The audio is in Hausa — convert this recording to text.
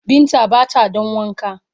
Binta ba ta don Wanka.